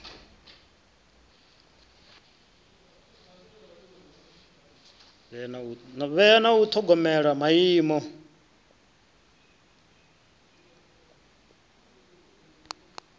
vhea na u ṱhogomela maimo